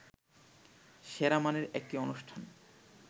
সেরা মানের একটি অনুষ্ঠান